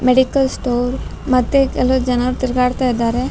Medical store ಮತ್ತೆ ಕೆಲವ್ ಜನರ್ ತಿರ್ಗಾಡ್ತಿದ್ದಾರೆ.